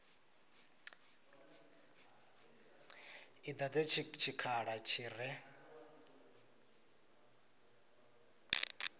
i dadze tshikhala tshi re